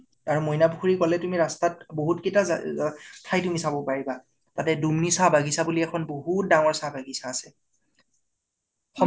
তাৰে মইনা পুখুৰী কলে, তুমি ৰাস্তাত বহুত কেইতা ঠাই তুমি চাব পাৰিবা । তাত দুম্নি চাহ বাগিছা বুলি এখন বহুত ডাঙৰ চাহ বাগিছা আছে । সম্ভ